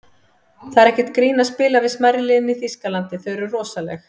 Það er ekkert grín að spila við smærri liðin í Þýskalandi, þau eru rosaleg.